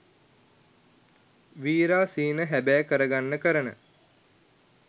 වීරා සිහින හැබෑ කරගන්න කරන